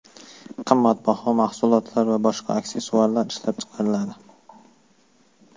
qimmatbaho mahsulotlar va boshqa aksessuarlar ishlab chiqaradi.